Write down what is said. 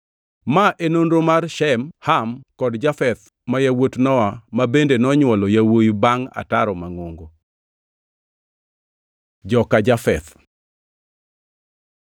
Ma e nonro mar Shem, Ham kod Jafeth ma yawuot Nowa ma bende nonywolo yawuowi bangʼ ataro mangʼongo. Joka Jafeth